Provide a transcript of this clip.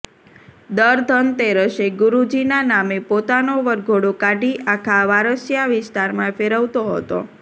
દર ધનતેરસે ગુરૂજીના નામે પોતાનો વરઘોડો કાઢી આખા વારસિયા વિસ્તારમાં ફેરવતો હતો